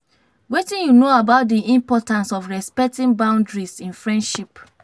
wetin you know about di importance of respecting boundiaries in friendships?